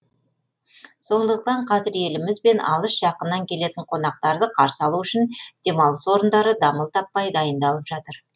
сондықтан қазір еліміз бен алыс жақыннан келетін қонақтарды қарсы алу үшін демалыс орындары дамыл таппай дайындалып жатыр